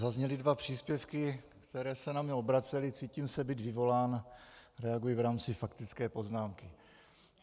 Zazněly dva příspěvky, které se na mě obracely, cítím se být vyvolán, reaguji v rámci faktické poznámky.